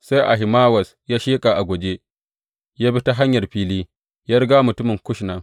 Sai Ahimawaz ya sheƙa a guje ya bi ta hanyar fili ya riga mutumin Kush nan.